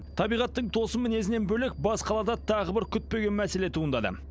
табиғаттың тосын мінезінен бөлек бас қалада тағы бір күтпеген мәселе туындады